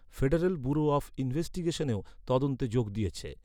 Federal Bureau of ইনভেস্টিগেশনও তদন্তে যোগ দিয়েছে।